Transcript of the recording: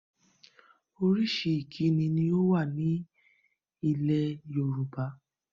Orísìí ìkíni ní ó wà ní ilé Yorùbá